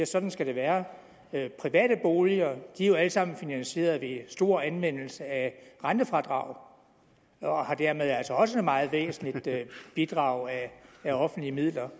sådan skal det være private boliger er jo alle sammen finansieret ved stor anvendelse af rentefradraget og har dermed altså også et meget væsentligt bidrag af offentlige midler